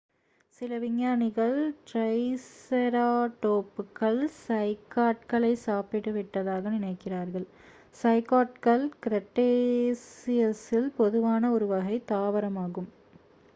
சில விஞ்ஞானிகள் ட்ரைசெராடோப்புகள் சைக்காட்களை சாப்பிட்டுவிட்டதாக நினைக்கிறார்கள் சைக்காட்கள் கிரெட்டேசியஸில் பொதுவான ஒரு வகை தாவரமாகும்